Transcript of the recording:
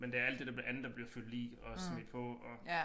Men det alt det der andet der bliver fyldt i og smidt på og